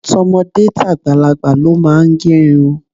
To̩mo̩dé tàgbàlagbà ló máa ń ge̩ irun.